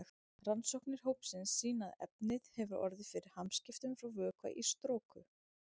Rannsóknir hópsins sýna að efnið hefur orðið fyrir hamskiptum frá vökva í storku.